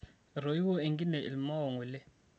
etoiwua enkine ilmao ngole